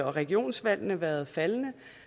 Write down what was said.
regionsvalgene været faldende